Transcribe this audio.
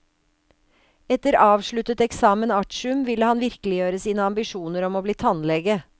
Etter avsluttet examen artium ville han virkeliggjøre sine ambisjoner om å bli tannlege.